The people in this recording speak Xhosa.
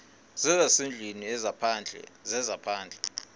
zezasendlwini ezaphandle zezaphandle